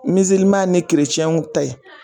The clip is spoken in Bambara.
ta ye